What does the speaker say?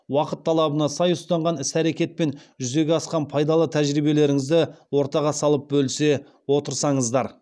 уақыт талабына сай ұстанған іс әрекет пен жүзеге асқан пайдалы тәжірибелеріңізді ортаға салып бөлісе отырсаңыздар